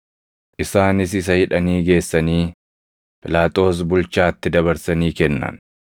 Isaanis isa hidhanii geessanii Phiilaaxoos bulchaatti dabarsanii kennan.